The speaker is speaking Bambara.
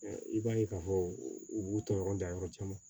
I b'a ye k'a fɔ u b'u ta yɔrɔ da yɔrɔ caman